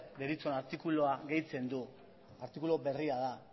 deritzon artikulua gehitzen du artikulu berria da